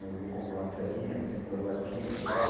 Eu vou comprar uma serrinha, vendo as latinha e tal.